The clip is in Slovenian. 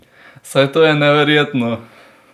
Saj to je neverjetno!